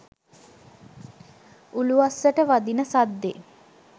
උළුවස්සට වදින සද්දෙ